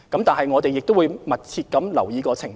但是，我們亦會密切留意情況。